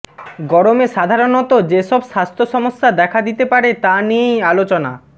গরমে সাধারণত যেসব স্বাস্থ্যসমস্যা দেখা দিতে পারে তা নিয়েই আলোচনা